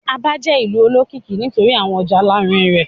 Aba jẹ ìlú olókìkí nítorí awọn ọja alarinrin rẹ.